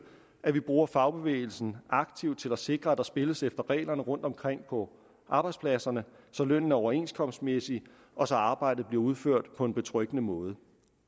at vi bruger fagbevægelsen aktivt til at sikre at der spilles efter reglerne rundtomkring på arbejdspladserne så lønnen er overenskomstmæssig og så arbejdet bliver udført på en betryggende måde